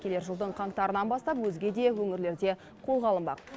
келер жылдың қаңтарынан бастап өзге де өңірлерде қолға алынбақ